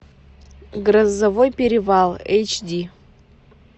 грозовой перевал эйч ди